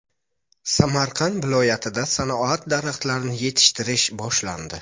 Samarqand viloyatida sanoat daraxtlarini yetishtirish boshlandi.